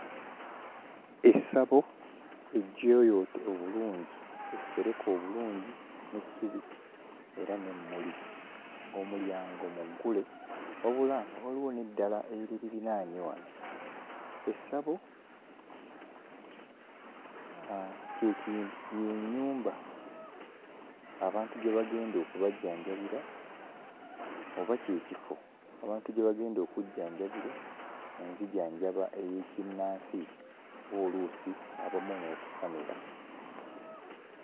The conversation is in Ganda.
Essabo ejjooyoote obulungi, essereke obulungi n'essubi era n'emmuli ng'omulyango muggule wabula nga waliwo n'eddala eriririraanye wano. Essabo kye ki... y'ennyumba abantu gye bagenda okubajjanjabira oba kye kifo abantu gye bagenda okujjanjabibwa mu nzijanjaba ey'ekinnansi oba oluusi abamu n'okusamira.